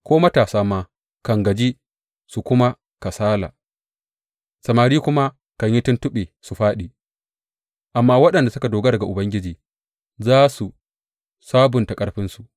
Ko matasa ma kan gaji su kuma kasala, samari kuma kan yi tuntuɓe su fāɗi; amma waɗanda suka dogara ga Ubangiji za su sabunta ƙarfinsu.